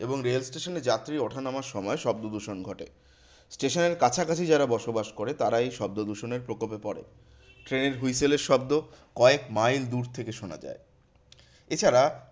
এবং রেল স্টেশনে যাত্রী ওঠানাবার সময় শব্দদূষণ ঘটে। স্টেশনের কাছাকাছি যারা বসবাস করে তারা এই শব্দদূষণের প্রকোপে পরে। ট্রেনের whistle এর শব্দ কয়েক মাইল দূর থেকে শোনা যায়। এছাড়া